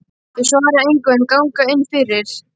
Þau svara engu en ganga inn fyrir.